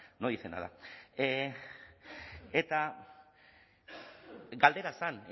no dice nada eta galdera zen